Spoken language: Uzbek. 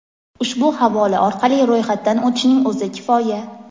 ushbu havola orqali ro‘yxatdan o‘tishning o‘zi kifoya.